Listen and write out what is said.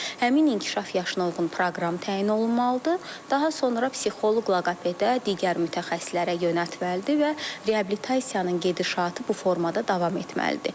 Həmin inkişaf yaşına uyğun proqram təyin olunmalıdır, daha sonra psixoloq, loqopeda, digər mütəxəssislərə yönəltməlidir və reabilitasiyanın gedişatı bu formada davam etməlidir.